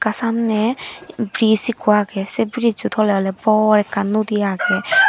ta samney bridge ekko agey sey bridge toley bor ekan nodi agey.